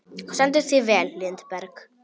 Þú stendur þig vel, Lindberg!